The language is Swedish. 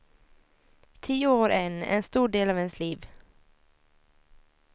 Tio år en en stor del av ens liv.